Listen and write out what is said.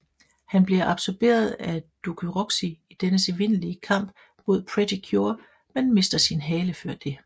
Han bliver absorberet af Dokuroxy i dennes endelige kamp mod Pretty Cure men mister sin hale før det